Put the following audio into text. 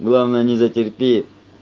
главное не затерпи